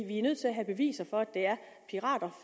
vi er nødt til at have beviser for at det er pirater